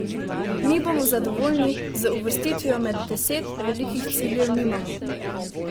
Mi bomo zadovoljni z uvrstitvijo med deset, velikih ciljev nimamo.